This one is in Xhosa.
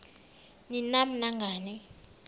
ni nam nangani